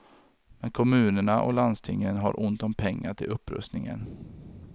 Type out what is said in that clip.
Men kommunerna och landstingen har ont om pengar till upprustningen.